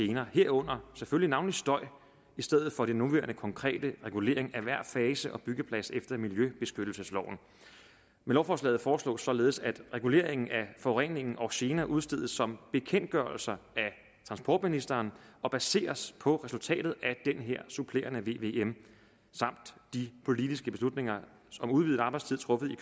gener herunder selvfølgelig navnlig støj i stedet for den nuværende konkrete regulering af hver fase og byggeplads efter miljøbeskyttelsesloven med lovforslaget foreslås således at reguleringen af forurening og gener udstedes som bekendtgørelser af transportministeren og baseres på resultatet af den her supplerende vvm samt de politiske beslutninger om udvidet arbejdstid truffet i